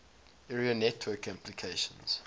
area network applications